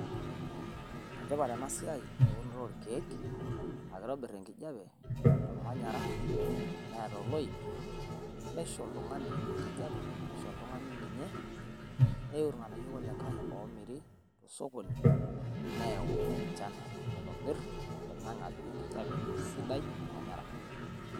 Enetipat ena siai eunoto oo ilkiek aa kitobirr enkijape tolmanyara neata oloip neisho oltung`ani enkijape neisho oltung`ani ninye. Neiu ilng`anayio kulikae oo miri te sokoni neyau enchan naitobir oling`ang`e apik enkijape sidai olmanyara.